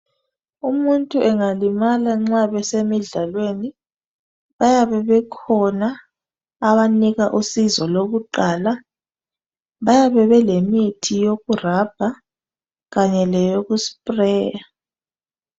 Umuntu angalimala nxa besemidlalweni bayabe bekhona abanika usizo lokuqala. Bayabe belemithi yokurabha kanye leyokusipureya.